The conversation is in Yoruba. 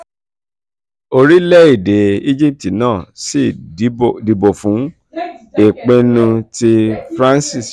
orílẹ̀-èdè egypt náà sì dìbò fún ìpinnu tí france ṣe.